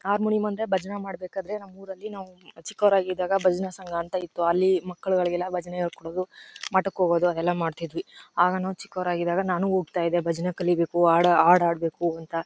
Harmonium ಅಂದ್ರೆ ಭಜನೆ ಮಾಡ್ಬೇಕ್ ಆದ್ರೆ ನಮ ಊರಲ್ಲಿ ನಾವು ಚಿಕ್ಕವರಾಗಿದಾಗ ಭಜನೆ ಸಂಘ ಅಂತ ಇತ್ತು. ಅಲ್ಲಿ ಮಕ್ಕಳಿಗೆ ಎಲ್ಲ ಭಜನೆ ಹೇಳ್ಕೊಡೋದು ಮಠಕ್ ಹೋಗೋದು ಅವು ಎಲ್ಲ ಮಾಡ್ತಿದ್ವಿ. ಆಗ ನಾವು ಚಿಕ್ಕವರಾಗಿದಾಗ ನಾನು ಹೋಗ್ತಾ ಇದ್ದೆ ಭಜನೆ ಕಲಿಬೇಕು ಹಾಡು ಆಡ್ಬೇಕು ಅಂತ.